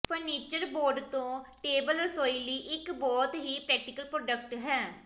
furniture board ਤੋਂ table ਰਸੋਈ ਲਈ ਇੱਕ ਬਹੁਤ ਹੀ ਪ੍ਰੈਕਟੀਕਲ ਪ੍ਰੋਡਕਟ ਹੈ